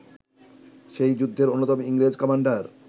সেই যুদ্ধের অন্যতম ইংরেজ কমান্ডার